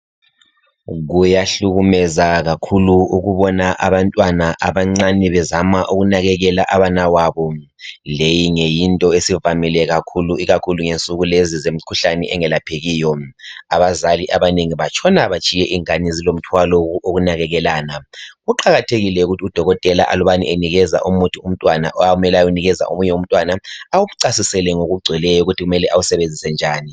Kuyahlukumeza kakhulu ukubona abantwana abancane bezama ukunakekela abanawabo. Leyi nge yinto esivamile kakhulu ikakhulu ngensuku lezi zemikhuhlane engelaphekiyo. Abazali abanengi batshona batshiye ingane zilomthwalo wokunakekelana. Kuqakathekile ukuthi udokotela aluba enikeza umuthi umntwana akummele ayewunikeza omunye umntwana, awucasisele ngokugcweleyo ukuthi kumele awusebenzise njani.